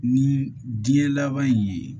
Ni diɲɛ laban in ye